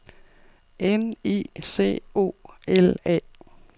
N I C O L A